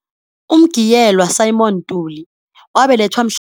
UMgiyelwa Simon Ntuli wabelethwa